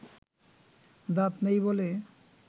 দাঁত নেই বলে